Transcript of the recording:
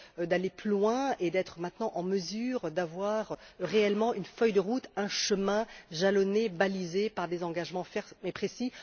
d'aller plus loin et d'être désormais en mesure d'avoir réellement une feuille de route, un chemin jalonné, balisé par des engagements fermes et précis.